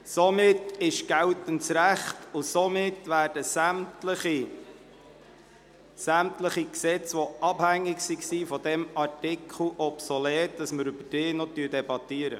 Somit gilt geltendes Recht und somit sind sämtliche Gesetzesänderungen, die von diesem Artikel abhängig waren, obsolet, sodass wir nicht mehr über diese debattieren.